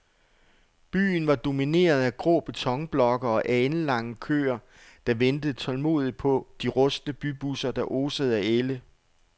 Byen var domineret af grå betonblokke og alenlange køer, der ventede tålmodigt på de rustne bybusser, der osede af ælde.